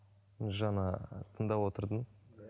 жаңа тыңдап отырдым